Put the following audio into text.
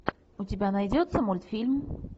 у тебя найдется мультфильм